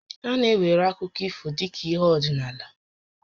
A na-ewere akụkọ ifo dị ka ihé ọdịnaala